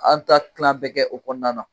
An ta kilan bɛ kɛ o kɔnɔna na